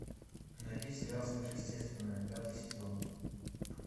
найди сериал сверхъестественное пятый сезон